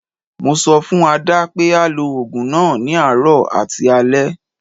Mo sọ fún Adé pé á lo ogun náà ní àárọ̀ àti alẹ.